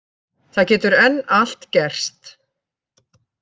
Það getur enn allt gerst